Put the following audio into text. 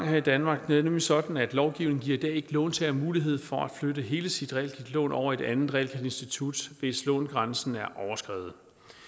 her i danmark det er nemlig sådan at lovgivningen ikke i låntager mulighed for at flytte hele sit realkreditlån over i et andet realkreditinstitut hvis lånegrænsen er overskredet